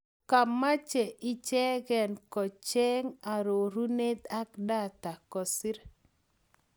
kamache ichegenkocheng arorunet ak data kosir.